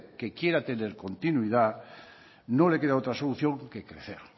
que quiera tener continuidad no le queda otra solución que crecer